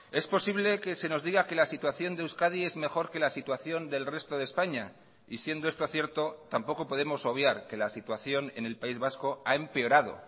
es posible que se nos diga que la situación de euskadi es mejor que la situación del resto de españa y siendo esto cierto tampoco podemos obviar que la situación en el país vasco ha empeorado